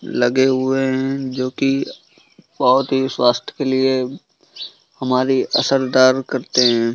लगे हुए है जो कि बहुत ही स्वाथ्य के लिए हमारी असरदार करते है।